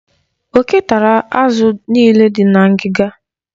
Oke tara azụ niile dị na ngịga.